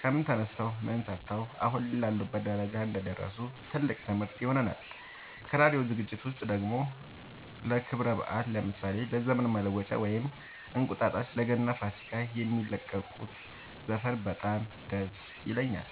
ከምን ተነስተው ምን ሰርተው አሁን ላሉበት ደረጃ እንደደረሱ ትልቅ ትምህርት ይሆነናል ከራዲዮ ዝግጅት ውስጥ ደግሞ ለክብረ በአል ለምሳሌ ለዘመን መለወጫ ወይም እንቁጣጣሽ ለገና ለፋሲካ የሚለቁት ዘፈን በጣም ደስ ይለኛል